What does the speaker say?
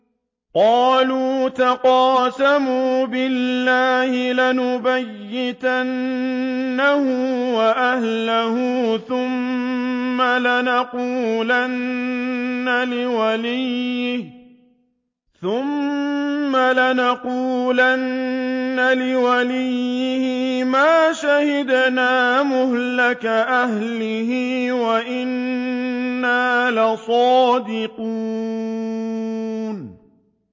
قَالُوا تَقَاسَمُوا بِاللَّهِ لَنُبَيِّتَنَّهُ وَأَهْلَهُ ثُمَّ لَنَقُولَنَّ لِوَلِيِّهِ مَا شَهِدْنَا مَهْلِكَ أَهْلِهِ وَإِنَّا لَصَادِقُونَ